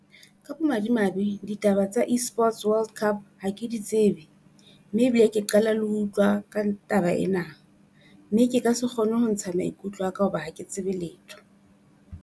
Ka bomadimabe ditaba tsa Esports World Cup ha ke di tsebe, mme ebile ke qala le ho utlwa ka taba ena. Mme ke ka se kgone ho ntsha maikutlo a ka hoba ha ke tsebe letho.